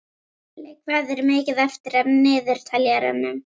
Krilli, hvað er mikið eftir af niðurteljaranum?